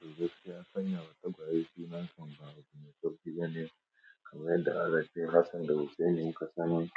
To gaskiya kam sanyawa tagwaye suna kam ba abu mai sauki bane. Kamar yadda alace Hassan da Hussaini muka sani